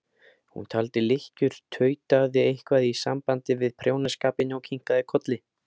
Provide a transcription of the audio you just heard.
Hún taldi lykkjur, tautaði eitthvað í sambandi við prjónaskapinn og kinkaði kolli.